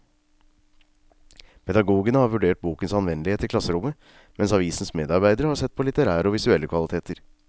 Pedagogene har vurdert bokens anvendelighet i klasserommet, mens avisens medarbeidere har sett på litterære og visuelle kvaliteter.